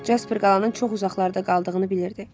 Jasper qalanın çox uzaqlarda qaldığını bilirdi.